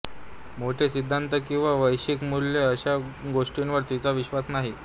मोठे सिद्धान्त किंवा वैश्विक मूल्ये अशा गोष्टींवर तिचा विश्वास नाही